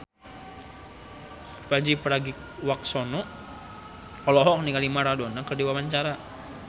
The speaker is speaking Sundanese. Pandji Pragiwaksono olohok ningali Maradona keur diwawancara